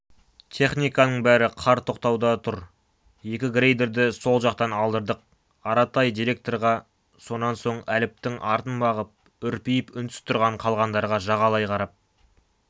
техниканың бәрі қар тоқтатуда жүр екі грейдерді сол жақтан алдырдық аратай директорға сонан соң әліптің артын бағып үрпиіп үнсіз тұрған қалғандарға жағалай қарап